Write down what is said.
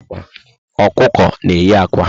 Ọkụkọ na eyi ákwà